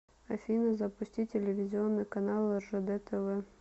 афина запусти телевизионный канал ржд тв